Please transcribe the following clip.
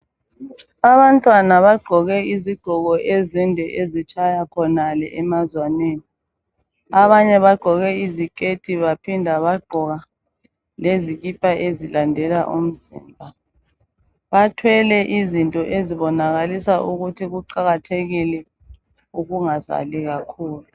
Abantwana bagqoke izigqoko ezinde ezitshaya khonale emazwaneni, abanye bagqoke izikethi baphinda bagqoka lezikipa ezilandela umzimba, bathwele izinto ezibonakalisa ukuthi kuqakathekile ukungazali kakhulu.